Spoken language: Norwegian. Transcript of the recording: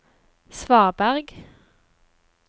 svaberg